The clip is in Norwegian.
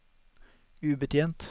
ubetjent